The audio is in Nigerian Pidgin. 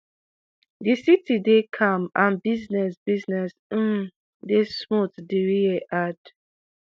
"di city dey calm and business business um dey smooth" diriye add.